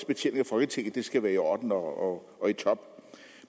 betjening af folketinget skal være i orden og og i top